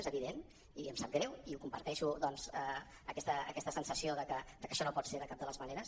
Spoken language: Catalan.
és evident i em sap greu i comparteixo doncs aquesta sensació de que això no pot ser de cap de les maneres